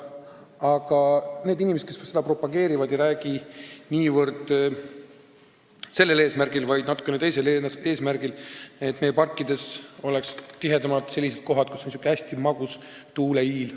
Aga need inimesed, kes seda propageerivad, ei räägi niivõrd sellel eesmärgil, vaid natukene teisel eesmärgil: et meie parkides oleks tihedamalt selliseid kohti, kus puhub selline hästi magus tuuleiil.